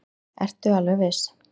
Ertu alveg viss?